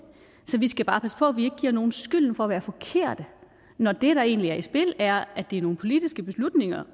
så vi skal bare passe på at vi giver nogen skylden for at være forkerte når det der egentlig er i spil er at det er nogle politiske beslutninger